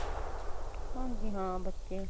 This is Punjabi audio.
ਹਾਂਜੀ ਹਾਂ ਬੱਚੇ